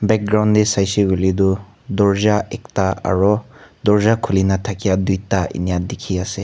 background tae saisey koiley toh durja ekta aru durja khulina thaka duita enika dekhi ase.